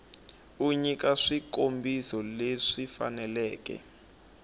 u nyika swikombiso leswi faneleke